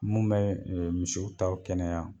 Mun bɛ misiw taw kɛnɛya.